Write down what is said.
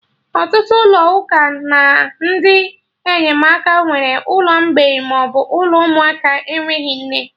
Ọtụtụ ụlọ ụka na ndị enyemaka nwere ụlọ mgbei maọbụ ụlọ ụmụaka enweghị nne